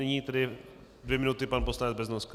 Nyní tedy dvě minuty pan poslanec Beznoska.